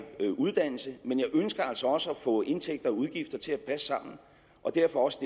uddannelse men jeg ønsker altså også at få indtægter og udgifter til at passe sammen og derfor også